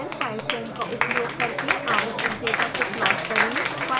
और फिर pyfoam का उपयोग करके आवश्यक डेटा को प्लोट करें